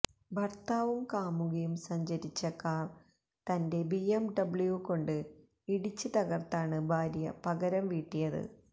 ഭര്ത്താവും കാമുകിയും സഞ്ചരിച്ച കാര് തന്റെ ബിഎംഡബ്ല്യൂ കൊണ്ട് ഇടിച്ച് തകര്ത്താണ് ഭാര്യ പകരംവീട്ടിയത്